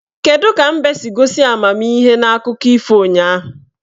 Kedu ka mbe siri gosi amamihe n'akụkọ ifo ụnyaahụ?